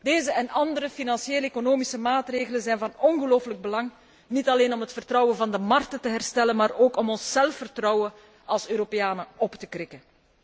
Deze en andere financieel economische maatregelen zijn van ongelooflijk belang, niet alleen om het vertrouwen van de markten te herstellen, maar ook om ons zelfvertrouwen als Europeanen op te krikken.